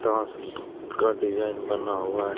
Down ceiling का design बना हुआ है।